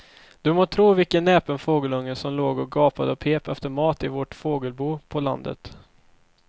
Du må tro vilken näpen fågelunge som låg och gapade och pep efter mat i vårt fågelbo på landet.